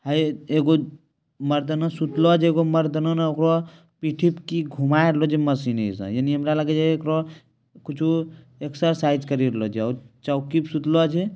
हेय एगो मर्दाना सुतला छै एगो मर्दाना ने ओकरा पीठी पे की घुमाय रहल छै मशीनी से यानी हमरा लगे छै एकरा कुछो एक्ससाइज करी रहला छै आर चौकी पे सुतला छै।